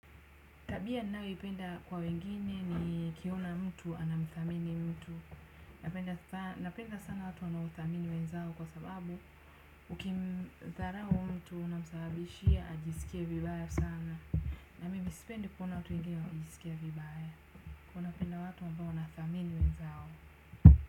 Tabia ninayoipenda kwa wengine nikiona mtu anamthamini mtu. Napenda sana watu wanao thamini wenzao kwa sababu uki mtharao mtu unamsababishia ajisikie vibaya sana. Na mimi sipendi kuona watu wengine wakisikia vibaya. Huwa napenda watu ambao wanathamini wenzao.